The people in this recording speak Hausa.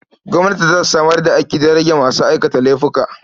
Gwamnati za ta samar da aiki don rage masu aikata laifuka.